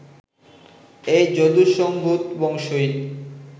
এই যদুসম্ভূত বংশই